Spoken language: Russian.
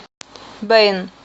бэйн